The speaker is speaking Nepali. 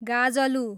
गाजलु